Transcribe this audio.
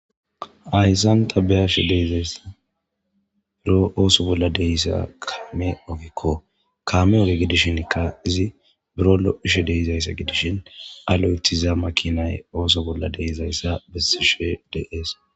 Hayssanta biyashe deezays biro ooso bolla deyssa kaame ofikko kame oge gidishinikka izi buro lo7ishe deyizayssa gidishin aloyethiza makinay ooso bolla deezayssa besishe dees.